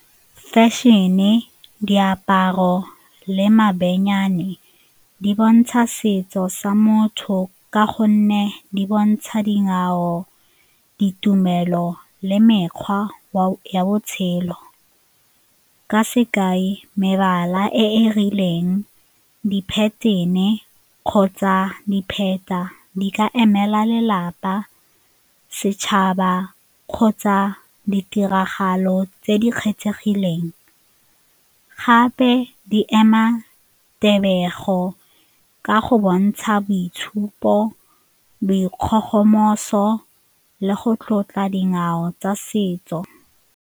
Fashion-e, diaparo le di bontsha setso sa motho ka gonne di bontsha dingwao, ditumelo le mekgwa ya botshelo ka sekai mebala e e rileng di-pattern-e kgotsa dipheta di ka emela lelapa, setšhaba kgotsa ditiragalo tse di kgethegileng, gape di ema tebego ka go bontsha boitshupo, dikgogomoso le go tlotla dingwao tsa setso.